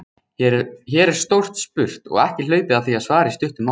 Hér er stórt spurt og ekki hlaupið að því að svara í stuttu máli.